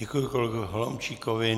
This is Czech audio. Děkuji kolegovi Holomčíkovi.